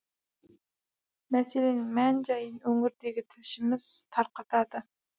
мәселенің мән жайын өңірдегі тілшіміз тарқатады